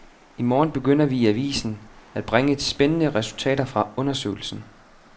I morgen begynder vi i avisen at bringe spændende resultater fra undersøgelsen.